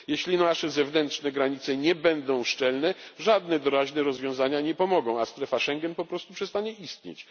Jeśli nasze zewnętrzne granice nie będą szczelne, żadne doraźne rozwiązania nie pomogą, a strefa Schengen po prostu przestanie istnieć.